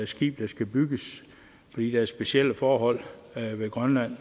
skib der skal bygges fordi der er specielle forhold ved grønland